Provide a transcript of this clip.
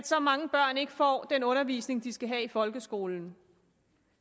så mange børn ikke får den undervisning de skal have i folkeskolen